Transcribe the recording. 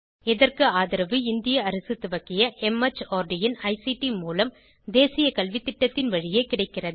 இதற்கு ஆதரவு இந்திய அரசு துவக்கிய மார்ட் இன் ஐசிடி மூலம் தேசிய கல்வித்திட்டத்தின் வழியே கிடைக்கிறது